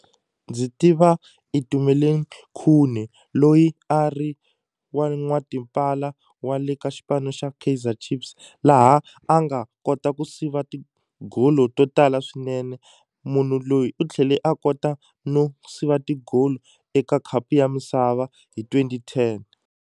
Ndzi tiva Itumeleng Khune loyi a ri wa n'watipala wa le ka xipano xa Kaizer Chiefs laha a nga kota ku siva tigolo to tala swinene munhu loyi u tlhele a kota no siva ti-goal eka khapu ya misava hi twenty ten.